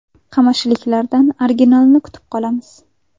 Qamashiliklardan originalini kutib qolamiz.